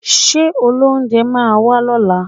Ṣé olóunjẹ máa wá lọ́la?